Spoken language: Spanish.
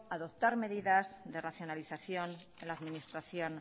adoptar medidas de racionalización en la administración